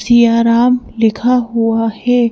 सियाराम लिखा हुआ है।